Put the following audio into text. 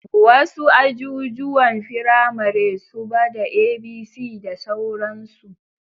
Wasu ajijuwan firamare suba da A,B,C da sauransu